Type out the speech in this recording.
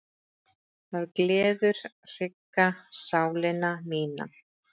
Það gleður hrygga sálina mína.